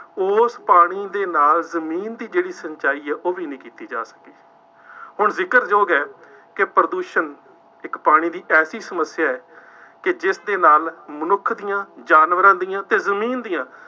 ਉਸ ਪਾਣੀ ਦੇ ਨਾਲ ਜ਼ਮੀਨ ਦੀ ਜਿਹੜੀ ਸਿੰਚਾਈ ਹੈ ਉਹ ਵੀ ਨਹੀਂ ਕੀਤੀ ਜਾ ਸਕਦੀ। ਅੋਰ ਜ਼ਿਕਰਯੋਗ ਹੈ, ਕਿ ਪ੍ਰਦੂਸ਼ਣ ਇੱਕ ਪਾਣੀ ਦੀ ਐਸੀ ਸਮੱਸਿਆ ਹੈ, ਕਿ ਜਿਸਦੇ ਨਾਲ ਮਨੁੱਖ ਦੀਆਂ, ਜਾਨਵਰਾਂ ਦੀਆਂ ਅਤੇ ਜ਼ਮੀਨ ਦੀਆਂ